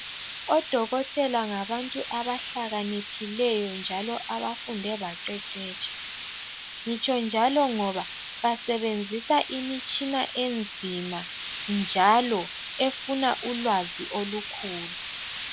Odokotela ngabantu abahlakaniphileyo njalo abafunde baqeqetsha. Ngitsho njalo ngoba basebenzisa imitshina enzima njalo efuna ulwazi olukhulu.